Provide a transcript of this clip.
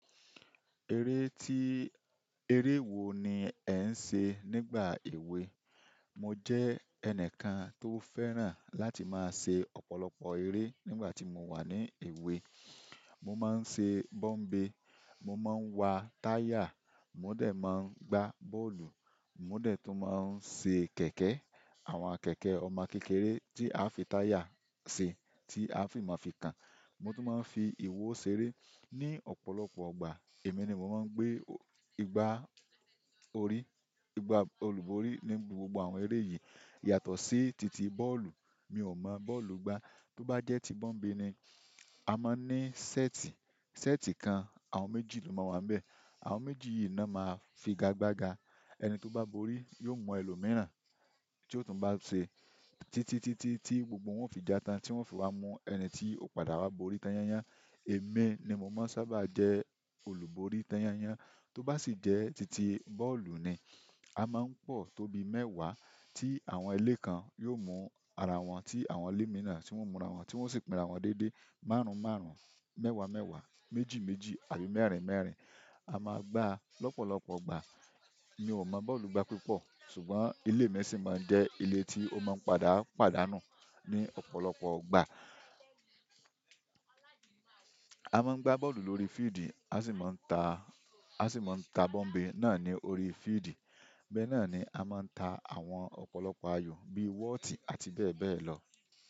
Eré tí-- eré wo ni ẹ̀ ń ṣe nígbà èwe? Mo jẹ́ ẹnìkan tó fẹ́ràn láti máa ṣe ọ̀pọ̀lọpọ̀ eré nígbà tí mo wà ní èwe. Mo máa ń ṣe bọ́ḿbè, mo máa ń wa táyà, mo de máa ń gbá bọ́ọ̀lù, mo dẹ̀ tún máa ń ṣe kẹ̀kẹ́, àwọn kẹ̀kẹ́ ọmọ kékeré tí aá fi táyà ṣe tí àá fi máa fi kan. Mo tún máa ń fi ìwo ṣeré. Ni ọ̀pọ̀lọpọ̀ ìgbà, èmi ni mo máa ń gbé igbá orí, igbá olúborí ní gbogbo àwọn eré yìí. Yàtọ̀ sí titi bọ́ọ̀lù, mi ò mọ bọ́ọ̀lù gbá. Tó bá jẹ́ ti bọ́ḿbe ni, a máa ń ní ṣẹ́ẹ̀tì, ṣẹ́ẹ̀tì kan àwọn méjì ló máa wà ńbẹ̀. Àwọn méjì yìí ná máa figagbaga. Ẹni tó bá borí yóò mú ẹlòmìíràn tí ó tún bá ṣe titi, titi tí gbogbo wọn ó fi já tán, tí wọ́n ó fi wá mú ẹni tí ó padà wá borí tán yán yán. Èmi ni mo máa ń sábà jẹ́ olùborí tán yán yán. Tó bá sì jẹ́ titi bọ́ọ̀lù ni, a máa ń pọ̀ tó bí mẹ́wàá, tí àwọn ilé kan yóò mú ara wọn, tí àwọn ilé mìíràn tí wọ́n ó múra wọ́n, tí wọ́n ó sì pínra wọ́n déédéé, márùn-ún-márùn-ún, mẹ́wàá-mẹ́wàá, méjì-méjì, àbí mẹ́rin-mẹ́rin. A máa gbáa lọ́pọ̀lọpọ̀ ìgbà. Mi ò mọ bọ́ọ̀lù gbá púpọ̀ ṣùgbọ́n ilé mi sì máa ń jẹ́ ilé tí ó máa ń padà pàdánù ní ọ̀pọ̀lọpọ̀ ìgbà. A máa ń gbá bọ́ọ̀lù lórí fíìdì, a sì máa ń ta, a sì máa ń ta bọ́ḿbe náà ní orí fíìdì. Bẹ́ náà ni a máa ń ta àwọn ọ̀pọ̀lọpọ̀ ayò bíi wọ́ọ̀tì àti bẹ́ẹ̀ bẹ́ẹ̀ lọ.